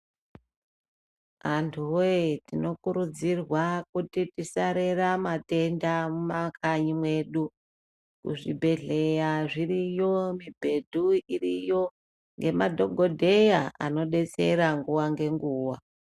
Antu woye tinokurudzirwa kuti tisarera matenda mumakanyi mwedu kuzvibhedhleya zviriyo mubhedhu iriyo nemadhokodheya anodetsera nguwa ngenguwa.